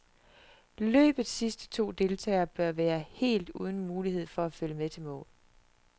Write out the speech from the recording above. Løbets sidste to deltagere bør være helt uden mulighed for at følge med til mål.